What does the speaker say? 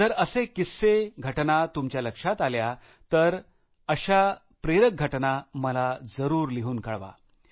जर असे किस्सेघटना तुमच्या लक्षात आल्या तर आपण अशा प्रेरक घटना मला जरुर कळवा